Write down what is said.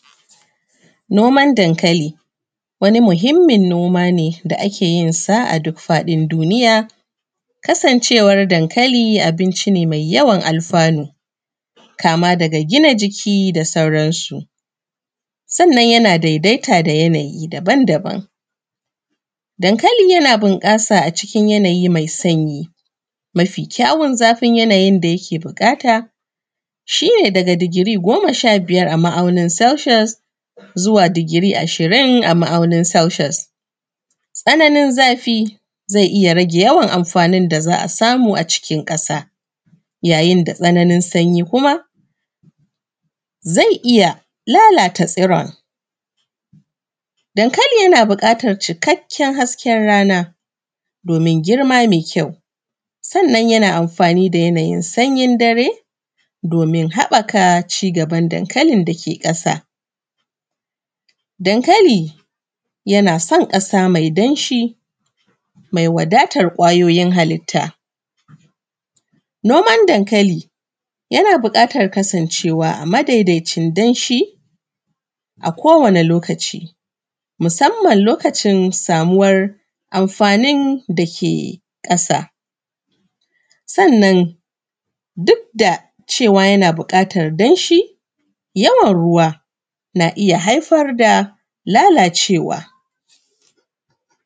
Noman dankaliwani muhimmin noma ne da ake yinsa a duk faɗin duniya. Kasancewar dankali abinci ne mai yawan alfanu kama daga gina jiki, da sauran su. Sannan yana daidaita da yanayi daban daban. Dankali yana bunƙasa a cikin yanayi mai sanyi, mafi kyawun zafin yanayin da yake buƙata shi ne daga digiri goma sha biyar a ma’auni Celsius zuwa digiri ashirin a ma’aunin Celsius. Tsananin zafi zai iya rage yawan da za a samu a cikin ƙasa, yayin da tsananin sanyi kuma zai iya lalata tsiron. Dankali yana bukatan cikakken hasken rana domin girma mai kyau, sannan yana amfani da yanayin sanyin dare domin haɓɓaka cigaban dankalin da ke ƙasa. Dankali yana son ƙasa mai danshi, mai wadatan ƙwayoyin halitta. Noman dankali yana buƙatan kasancewa a madaidaicin danshi a kowane lokaci, musamman lokacin samuwan amfanin da ke ƙasa. Sannan duk da cewa yana buƙatan danshi, yawan ruwa na iya haifar da lalacewa.